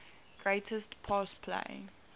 greatest pass play